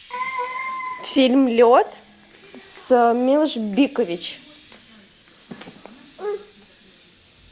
фильм лед с милош бикович